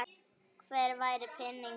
Hvergi væri peninga að fá.